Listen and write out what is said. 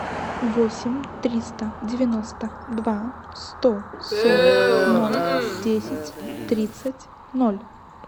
восемь триста девяносто два сто сорок ноль десять тридцать ноль